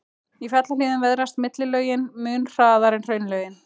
Í fjallahlíðum veðrast millilögin mun hraðar en hraunlögin.